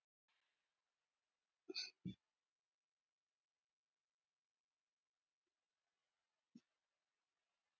Eins og flestir vita leita laxar í ferskt vatn til hrygningar.